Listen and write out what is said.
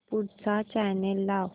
पुढचा चॅनल लाव